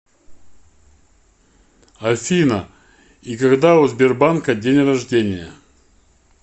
афина и когда у сбербанка день рождения